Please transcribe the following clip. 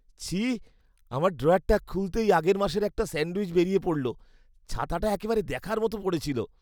ছি! আমার ড্রয়ারটা খুলতেই আগের মাসের একটা স্যান্ডউইচ বেরিয়ে পড়লো। ছাতাটা একেবারে দেখার মতো পড়েছিল।